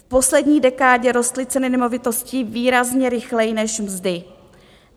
V poslední dekádě rostly ceny nemovitostí výrazně rychleji než mzdy.